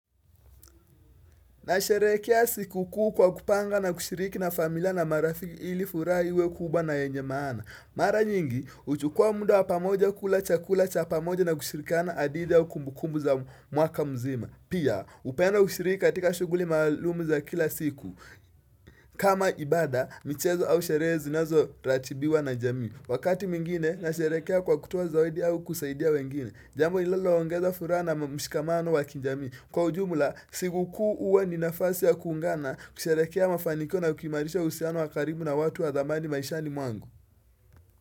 Na sherekea siku kuu kwa kupanga na kushiriki na familia na marafiki ili furaha iwe kubwa na yenye maana Mara nyingi, huchukua muda wa pamoja kula chakula cha pamoja na kushirikana adida wa kumbukumu za mwaka mzima Pia, upeana ushiriki katika shughuli maalumu za kila siku kama ibada, michezo au sherehe zinazo ratibiwa na jamii Wakati mingine, na sherekea kwa kutoa zawadi au kusaidia wengine Jambo lililo ongeza furaha na mshikamano wa kijamii Kwa ujumula, siku kuu huwa ni nafasi ya kuungana kusherehekea mafaniko na kuimarisha uhusiano wa karibu na watu wa dhamani maishani mwangu.